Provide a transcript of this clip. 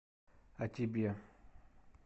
а тебе